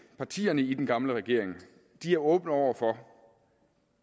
partierne i den gamle regering er åbne over for